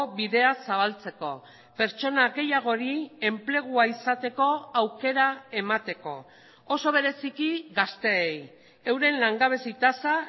bidea zabaltzeko pertsona gehiagori enplegua izateko aukera emateko oso bereziki gazteei euren langabezi tasa